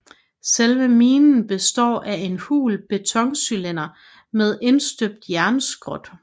Selve minen består af en hul betoncylinder med indstøbt jernskrot